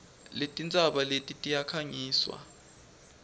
letintsaba eti tiyakhangiswa